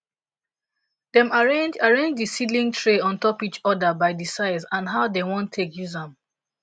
dem arrange arrange di seedling tray on top each other by di size and how dem wan take use am